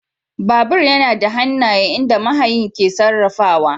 Babur yana da hannaye inda mahayin ke sarrafa shi.